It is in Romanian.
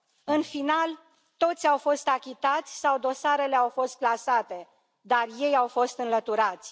În final, toți au fost achitați sau dosarele au fost clasate, dar ei au fost înlăturați.